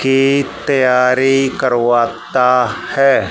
की तैयारी करवाता हैं।